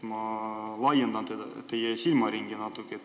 Ma natuke laiendan teie silmaringi.